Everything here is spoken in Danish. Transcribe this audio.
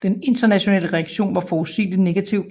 Den internationale reaktion var forudsigeligt negativ